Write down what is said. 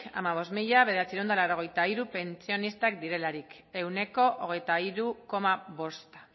hamabost mila bederatziehun eta laurogeita hiru pentsionistak direlarik ehuneko hogeita hiru koma bosta